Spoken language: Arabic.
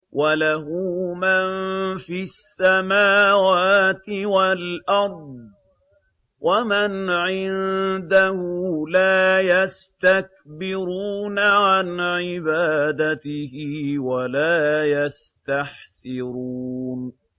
وَلَهُ مَن فِي السَّمَاوَاتِ وَالْأَرْضِ ۚ وَمَنْ عِندَهُ لَا يَسْتَكْبِرُونَ عَنْ عِبَادَتِهِ وَلَا يَسْتَحْسِرُونَ